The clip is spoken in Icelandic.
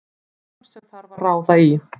Form sem þarf að ráða í.